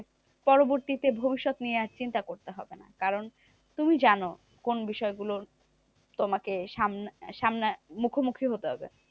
পরবর্তীতে ভবিষৎ নিয়ে আর চিন্তা করতে হবে না। কারণ তুমি জানো, কোন বিষয়ে গুলো তোমাকে সামনা সামনে মুখোমুখি হতে হবে?